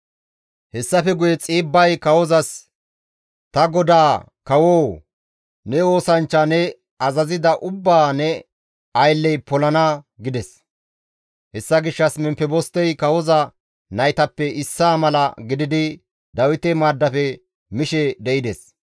Hessafe guye Xiibbay kawozas, «Ta godaa kawoo! Ne oosanchcha ne azazida ubbaa ne aylley polana» gides. Hessa gishshas Memfebostey kawoza naytappe issaa mala gididi Dawite maaddafe mishe de7ides.